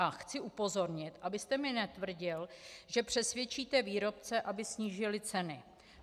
A chci upozornit, abyste mně netvrdil, že přesvědčíte výrobce, aby snížili ceny.